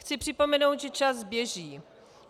Chci připomenout, že čas běží.